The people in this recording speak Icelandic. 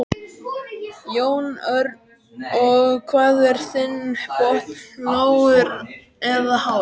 Jón Örn: Og hvað er þinn botn lágur eða hár?